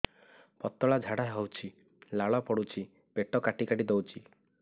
ପତଳା ଝାଡା ହଉଛି ଲାଳ ପଡୁଛି ପେଟ କାଟି କାଟି ଦଉଚି